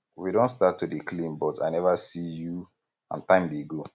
we don start to dey clean but i never see you and time dey go